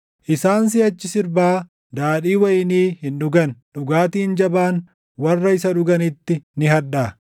Isaan siʼachi sirbaa daadhii wayinii hin dhugan; dhugaatiin jabaan warra isa dhuganitti ni hadhaaʼa.